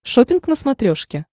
шоппинг на смотрешке